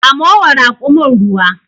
Samo wa rakumin ruwa.